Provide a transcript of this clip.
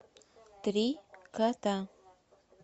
три кота